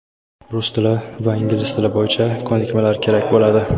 rus tili va ingliz tili bo‘yicha ko‘nikmalar kerak bo‘ladi.